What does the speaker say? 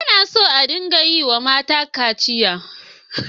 Ba na so a dinga yiwa mata kaciya.